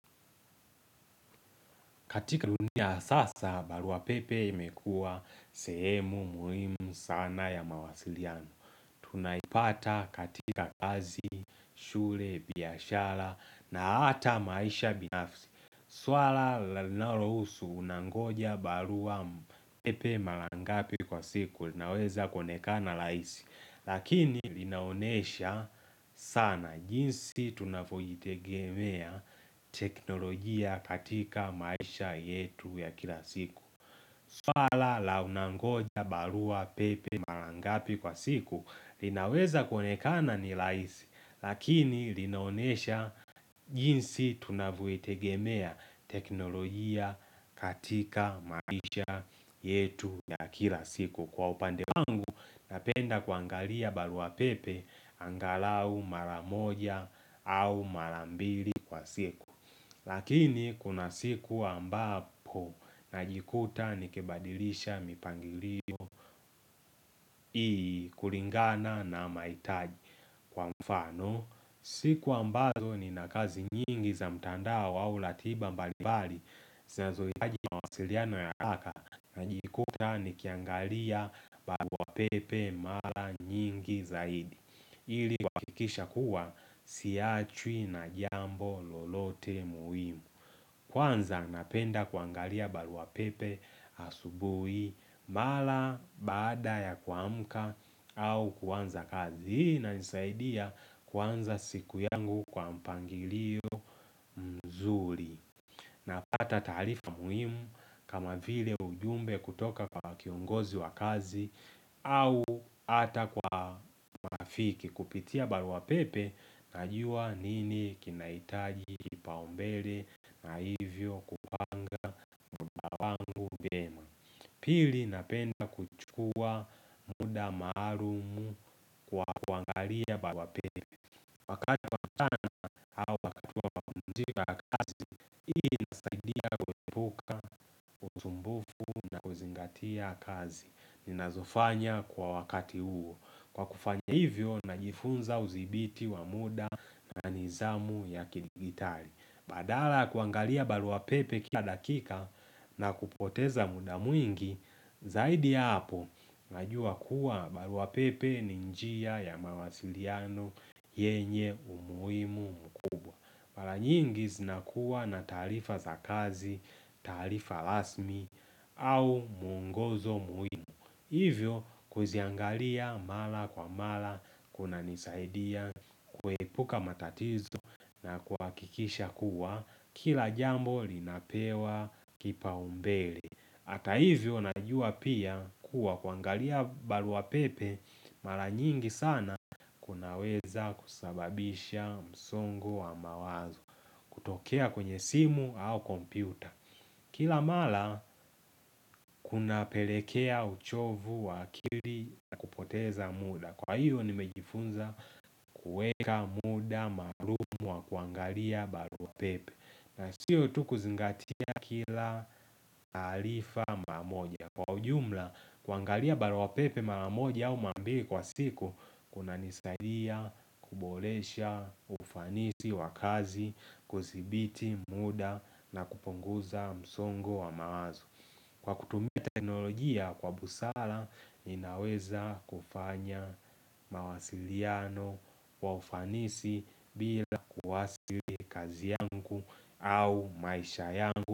Katika dunia sasa, barua pepe imekua sehemu muhimu sana ya mawasiliano. Tunaipata katika kazi, shule, biashara na hata maisha binafsi. Swala linalohusu unangoja barua pepe maraa ngapi kwa siku linaweza konekana rahisi. Lakini linaonesha sana jinsi tunavyoitegemea teknolojia katika maisha yetu ya kila siku swala la unangoja barua pepe maraa ngapi kwa siku linaweza kuonekana ni rahisi Lakini linaonesha jinsi tunavyoitegemea teknolojia katika maisha yetu ya kila siku Kwa upande wangu napenda kuangalia barua pepe angalau maraa moja au maraa mbili kwa siku Lakini kuna siku ambapo najikuta nikibadilisha mipangilio iIi kulingana na maihitaji kwa mfano siku ambazo nina kazi nyingi za mtandao au ratiba mbalimbali Sinazohitaji wasiliano y haraka najikuta nikiangalia barua pepe mara nyingi zaidi ili kuhakikisha kuwa siachwi na jambo lolote muhimu Kwanza napenda kuangalia barua pepe asubuhi mara baada ya kuamka au kuanza kazi ili nani saidia kwanza siku yangu kwa mpangilio mzuri Napata taarifa muhimu kama vile ujumbe kutoka kwa kiongozi wa kazi au hata kwa nafiki kupitia barua pepe najua nini kinahitaji kibao mbele na hivyo kupanga muda wangu vyema. Pili napenda kuchukua muda maalumu kwa kuangalia barua pepe. Wakati wa kuzingatia kazi ninazofanya kwa wakati huo Kwa kufanya hivyo najifunza uzibiti wa muda na nizamu ya kidigitali Badala ya kuangalia barua pepe kila dakika na kupoteza muda mwingi Zaidi ya hapo najua kuwa barua pepe ni njia ya mawasiliano yenye umujimu mkuu Maraa nyingi zinakuwa na taarifa za kazi, taarifa rasmi au muongozo muhimu. Hivyo kuziangalia mara kwa mara, kunanisaidia, kuepuka matatizo na kuhakikisha kuwa, kila jambo linapewa kibao mbele. Hata hivyo najua pia kuwa kuangalia barua pepe, maraa nyingi sana kunaweza kusababisha msongo wa mawazo. Kutokea kwenye simu au kompyuta Kila mara kunapelekea uchovu wa akili na kupoteza muda Kwa hiyo nimejifunza kuweka muda maalumu wa kuangalia barua pepe na siyo tu kuzingatia kila taarifa maraa moja Kwa ujumla kuangalia barua pepe maraa moja au maraa mbili kwa siku kunanisaidia kuboresha ufanisi wa kazi kusibiti muda na kupunguza msongo wa mawazo Kwa kutumia teknolojia kwa busala inaweza kufanya mawasiliano kwa ufanisi bila kuadhiri kazi yangu au maisha yangu.